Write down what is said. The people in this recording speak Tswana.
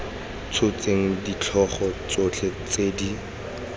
tshotseng ditlhogo tsotlhe tse di